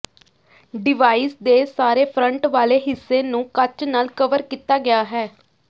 device ਦੇ ਸਾਰੇ front ਵਾਲੇ ਹਿੱਸੇ ਨੂੰ ਕੱਚ ਨਾਲ ਕਵਰ ਕੀਤਾ ਗਿਆ ਹੈ